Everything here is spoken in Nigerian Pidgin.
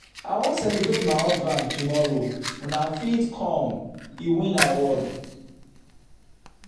i wan celebrate my husband tomorrow una fit come he win award.